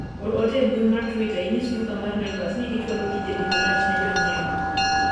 or ote e mbui mar twita inyis duka mar naivas ni gichwalo tijegi marach ne jonyiewo